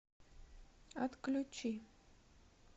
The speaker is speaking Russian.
отключи